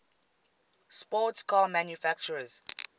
sports car manufacturers